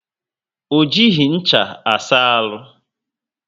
O jighi ncha asa aru